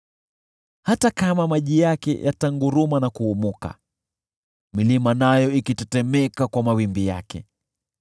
Hata kama maji yake yatanguruma na kuumuka, milima nayo ikitetemeka kwa mawimbi yake.